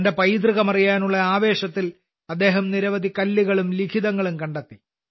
തന്റെ പൈതൃകം അറിയാനുള്ള ആവേശത്തിൽ അദ്ദേഹം നിരവധി കല്ലുകളും ലിഖിതങ്ങളും കണ്ടെത്തി